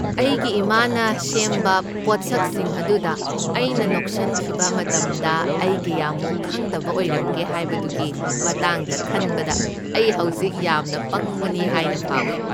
ꯑꯩꯒꯤ ꯏꯃꯥꯅ ꯁꯦꯝꯕ ꯄꯣꯠꯁꯛꯁꯤꯡ ꯑꯗꯨꯗ ꯑꯩꯅ ꯅꯣꯛꯁꯟꯈꯤꯕ ꯃꯇꯝꯗ ꯑꯩ ꯀꯌꯥꯃꯨꯛ ꯈꯪꯗꯕ ꯑꯣꯏꯔꯝꯒꯦ ꯍꯥꯏꯕꯗꯨꯒꯤ ꯃꯇꯥꯡꯗ ꯈꯟꯕꯗ ꯑꯩ ꯍꯧꯖꯤꯛ ꯌꯥꯝꯅ ꯄꯪꯕꯅꯤ ꯍꯥꯏꯅ ꯐꯥꯎꯏ꯫